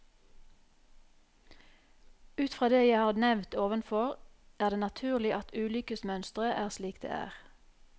Ut fra det jeg har nevnt ovenfor, er det naturlig at ulykkesmønsteret er slik det er.